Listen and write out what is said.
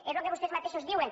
és lo que vostès mateixos diuen